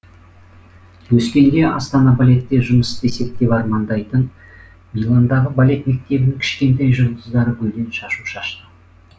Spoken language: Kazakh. өскенде астана балетте жұмыс істесек деп армандайтын миландағы балет мектебінің кішкентай жұлдыздары гүлден шашу шашты